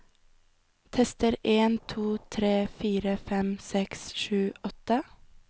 Tester en to tre fire fem seks sju åtte